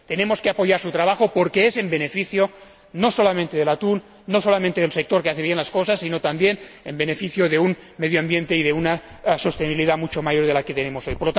Tenemos que apoyar su trabajo porque redunda en beneficio no solamente del atún, no solamente del sector que hace bien las cosas, sino también en beneficio de un medio ambiente y de una sostenibilidad mucho mayor que la actual.